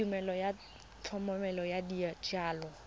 tumelelo ya thomeloteng ya dijalo